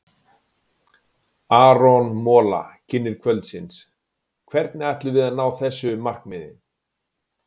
Aron Mola, kynnir kvöldsins: Hvernig ætlum við að ná þessu markmiði?